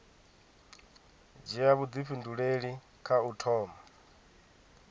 dzhia vhuifhinduleli kha u thoma